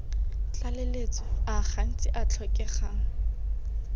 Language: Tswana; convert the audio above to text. tlaleletso a gantsi a tlhokegang